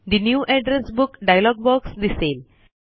ठे new address book dialog box दिसेल